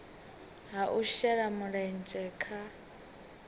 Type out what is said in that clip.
ha u shela mulenzhe kha